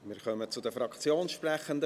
Wir kommen zu den Fraktionssprechenden.